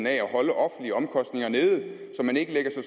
af at holde offentlige omkostninger nede så man ikke lægger så